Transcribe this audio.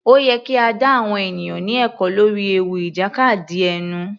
Ó yẹ kí a dá àwọn ènìyàn ní ẹ̀kọ́ lórí ewu ìjàkadì ẹnu.